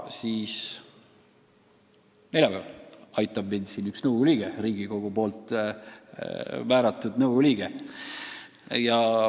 Neljapäeval aitab mind üks Riigikogu määratud nõukogu liige.